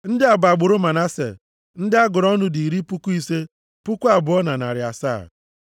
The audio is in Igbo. Ndị a bụ agbụrụ Manase. Ndị a gụrụ ọnụ dị iri puku ise, puku abụọ na narị asaa (52,700).